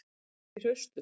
Ég var ekki hraustur.